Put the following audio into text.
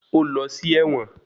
Ó lọ sí ẹ̀wọ̀n.